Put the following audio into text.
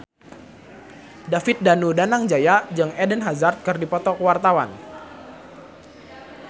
David Danu Danangjaya jeung Eden Hazard keur dipoto ku wartawan